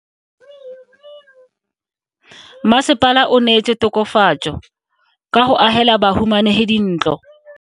Mmasepala o neetse tokafatso ka go agela bahumanegi dintlo.